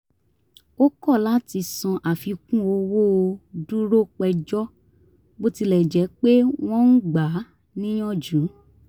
ó kọ̀ láti san àfikún owó ó dúró péjọ bó tilẹ̀ jẹ́ pé wọ́n ń gba á níyànjú